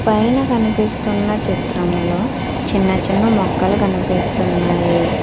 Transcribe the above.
పైన కనిపిస్తున్న చిత్రంలో చిన్న చిన్న మొక్కలు కనిపిస్తున్నాయి.